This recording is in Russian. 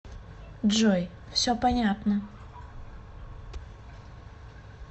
джой все понятно